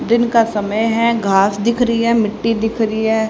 दिन का समय है घास दिख रही है मिट्टी दिख रही है।